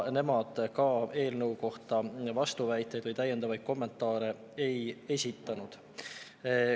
Nemad ka eelnõu kohta vastuväiteid või täiendavaid kommentaare ei esitanud.